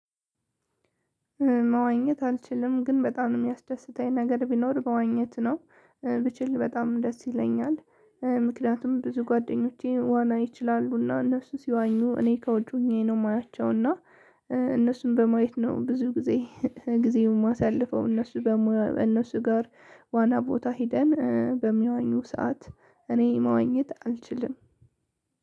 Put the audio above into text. መዋኘት አልችልም ግን በጣም የሚያስደስተኝ ነገር ቢኖር መዋኘት ነው ብችል በጣም ደስ ይለኛል ምክንያቱም ብዙ ጓደኞቼ ዋና ይችላሉ እና እነሱ ሲዋኙ እኔ ከውጪ ሆኜ ነው የማያቸው እና እነሱን በማየት ነው ብዙ ጊዜን የማሳልፈው። እነሱ ጋር ዋና ቦታ ሄደን በሚዋኙ ሰዓት እኔ መዋኘት አልችልም።